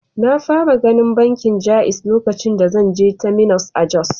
Na fara ganin bankin Jaiz lokacin da zan je Terminus a Jos.